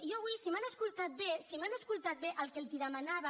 i jo avui si m’han escoltat bé si m’han escoltat bé el que els demanava